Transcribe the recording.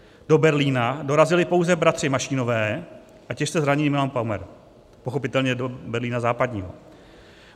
Do Berlína dorazili pouze bratři Mašínové a těžce zraněný Milan Paumer, pochopitelně do Berlína západního.